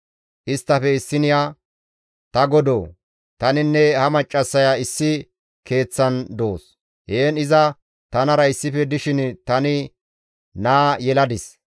Isttafe issiniya, «Ta godoo! Taninne ha maccassaya issi keeththan doos; heen iza tanara issife dishin tani naa yeladis.